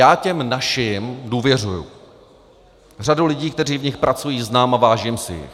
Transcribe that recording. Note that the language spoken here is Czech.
Já těm našim důvěřuji, řadu lidí, kteří v nich pracují, znám a vážím si jich.